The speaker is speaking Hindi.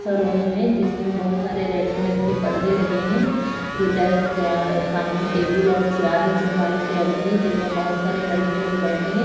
सा रूम है जिसमें बहुत सारे रेड कलर के पर्दे लगे है जो डेस्क सामने टेबल और चेयार है जो व्हाइट कलर की है जिसमें बहुत सारे लड़के लोग बैठे है।